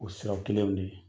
O siraw kelenw de ye